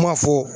Kuma fɔ